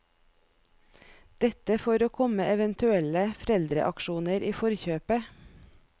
Dette for å komme eventuelle foreldreaksjoner i forkjøpet.